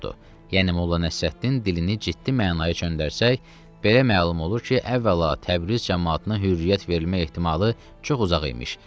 Yəni Molla Nəsrəddin dilini ciddi mənaya çöndərsək, belə məlum olur ki, əvvəla Təbriz camaatına hürriyyət verilmə ehtimalı çox uzaq imiş.